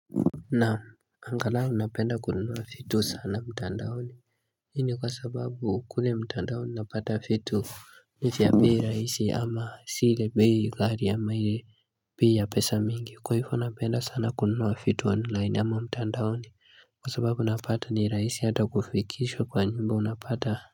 Naam angalau napenda kununua vitu sana mtandaoni Hii ni kwa sababu kule mtandaoni napata vitu ni za bei raahisi ama si ile bei ghali ama ile bei ya pesa mingi, kwa hivo napenda sana kununua vitu online ama mtandaoni Kwa sababu napata nirahisi hata kufikishwa kwa nyumba unapata.